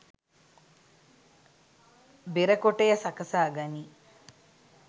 බෙර කොටය සකසා ගනී.